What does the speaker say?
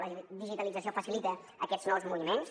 la digitalització facilita aquests nous moviments